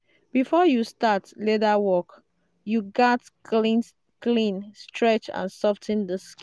before you start leather work you gatz clean stretch and sof ten the